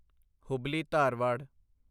Hubli Dharwad